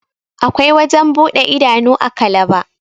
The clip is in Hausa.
akwai wajen buɗe idanu a kalaba